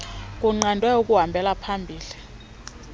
kunqandwe ukuhambela phambili